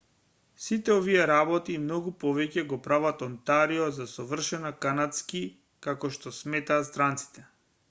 сите овие работи и многу повеќе го прават онтарио за совршено канадски како што сметаат странците